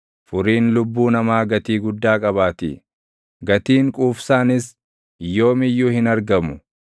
furiin lubbuu namaa gatii guddaa qabaatii; gatiin quufsaanis yoom iyyuu hin argamu;